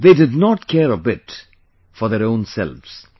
They did not care a bit for their own selves